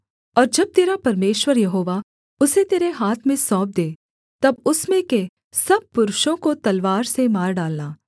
और जब तेरा परमेश्वर यहोवा उसे तेरे हाथ में सौंप दे तब उसमें के सब पुरुषों को तलवार से मार डालना